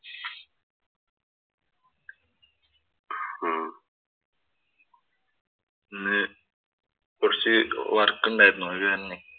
ഉം ഇന്ന് കുറച്ചു work ഉണ്ടാരുന്നു. അത് തന്നെ.